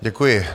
Děkuji.